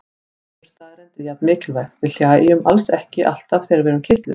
Önnur staðreynd er jafn mikilvæg: Við hlæjum alls ekki alltaf þegar við erum kitluð.